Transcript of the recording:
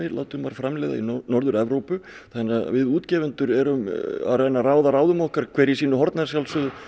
láti maður framleiða í Norður Evrópu þannig að við útgefendur erum að reyna að ráða ráðum okkur hver í sínu horni að sjálfsögðu